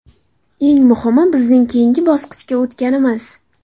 Eng muhimi bizning keyingi bosqichga o‘tganimiz.